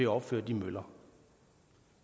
opføre de møller